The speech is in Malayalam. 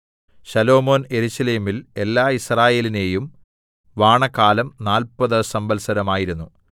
ശലോമോൻ യെരൂശലേമിൽ എല്ലാ യിസ്രായേലിനെയും വാണകാലം നാല്പത് സംവത്സരം ആയിരുന്നു